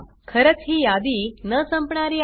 खरंच ही यादी न संपणारी आहे